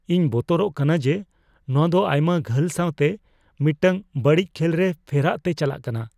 ᱤᱧ ᱵᱚᱛᱚᱨᱚᱜ ᱠᱟᱱᱟ ᱡᱮ ᱱᱚᱣᱟ ᱫᱚ ᱟᱭᱢᱟ ᱜᱷᱟᱹᱞ ᱥᱟᱣᱛᱮ ᱢᱤᱫᱴᱟᱝ ᱵᱟᱹᱲᱤᱡ ᱠᱷᱮᱞ ᱨᱮ ᱯᱷᱮᱨᱟᱜ ᱛᱮ ᱪᱟᱞᱟᱜ ᱠᱟᱱᱟ ᱾